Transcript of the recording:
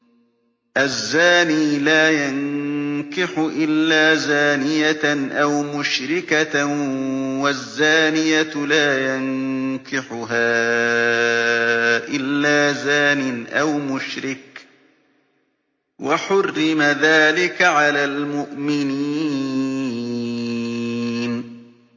الزَّانِي لَا يَنكِحُ إِلَّا زَانِيَةً أَوْ مُشْرِكَةً وَالزَّانِيَةُ لَا يَنكِحُهَا إِلَّا زَانٍ أَوْ مُشْرِكٌ ۚ وَحُرِّمَ ذَٰلِكَ عَلَى الْمُؤْمِنِينَ